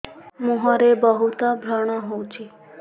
ମୁଁହରେ ବହୁତ ବ୍ରଣ ହଉଛି